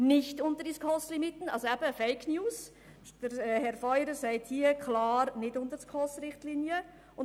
Herr Feurer sagt hier klar, es sei nicht unter die SKOS-Richtlinien zu gehen.